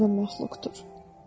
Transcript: çox qəribə məxluqdur.